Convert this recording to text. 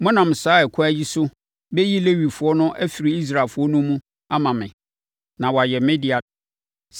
Monam saa ɛkwan yi so bɛyi Lewifoɔ no afiri Israelfoɔ no mu ama me, na wɔayɛ me dea.